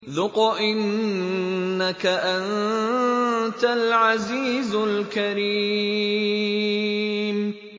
ذُقْ إِنَّكَ أَنتَ الْعَزِيزُ الْكَرِيمُ